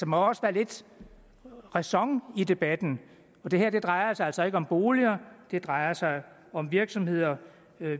må også være lidt ræson i debatten det her drejer sig altså ikke om boliger det drejer sig om virksomheder